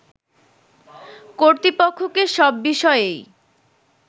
কর্তৃপক্ষকে সব বিষয়েই